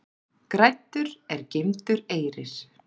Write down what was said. Græddur er geymdur eyrir.